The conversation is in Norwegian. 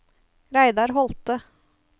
Reidar Holthe